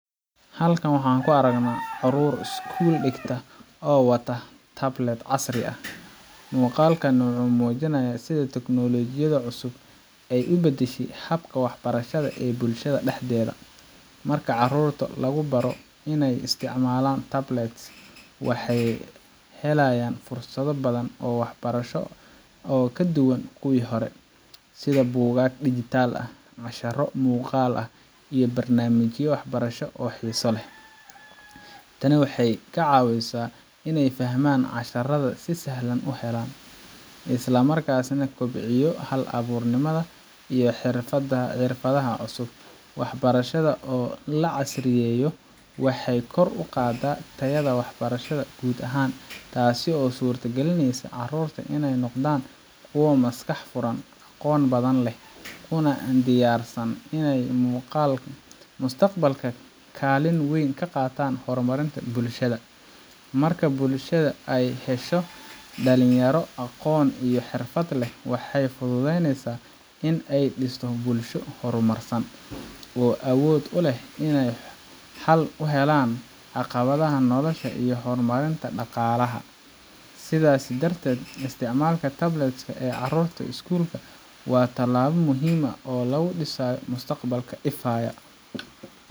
Halkan waxaan ku aragnaa carruur iskuul dhigta oo wata tablets casri ah. Muuqaalkani wuxuu muujinayaa sida tiknoolajiyadda cusub ay u bedeshay habka waxbarashada ee bulshada dhexdeeda. Marka carruurta lagu baro inay isticmaalaan tablets, waxay helayaan fursado badan oo waxbarasho oo ka duwan kuwii hore, sida buugaag digital ah, casharro muuqaal ah, iyo barnaamijyo waxbarasho oo xiiso leh. Tani waxay ka caawisaa inay fahamka casharrada si sahlan u helaan, isla markaana kobciso hal abuurnimada iyo xirfadaha cusub. Waxbarashada oo la casriyeeyo waxay kor u qaadaa tayada waxbarashada guud ahaan, taasoo u suuragelinaysa carruurta inay noqdaan kuwo maskax furan, aqoon badan leh, kuna diyaarsan inay mustaqbalka kaalin weyn ka qaataan horumarka bulshada Marka bulshada ay hesho dhalinyaro aqoon iyo xirfad leh, waxay fududeyneysaa in la dhiso bulsho horumarsan, oo awood u leh inay xal u helaan caqabadaha nolosha iyo horumarinta dhaqaalaha. Sidaas darteed, isticmaalka tablets ka ee carruurta iskuulka waa tallaabo muhiim ah oo lagu dhisayo mustaqbal ifaya.